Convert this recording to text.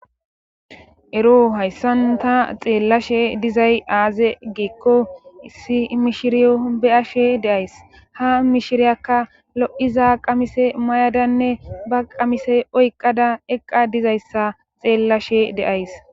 Ero hayssanta xeellashe dizay aaze giekko issi mishiriyo be7ashe deays ha mishiriyakka lo7iza qamise mayadanne ba qamise oyqqada eqqa dizayssa xeellashe deays.